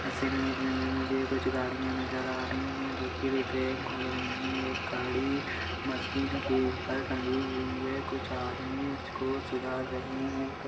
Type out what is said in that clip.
इस इमेज में कुछ गाड़िया नज़र आ रही है जो कि रिपेयरिंग हो रही है एक गारी मशीन के ऊपर तंगी हुई है कुछ आदमी उसे सुधार रहे है।